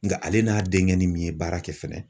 Nka ale n'a denkɛ ni min ye baara kɛ fɛnɛ